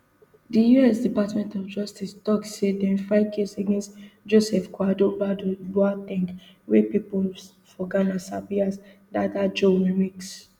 di us department of justice tok say dem file case against joseph kwadwo badu boa ten g wia pipo for ghana sabi as dada joe remix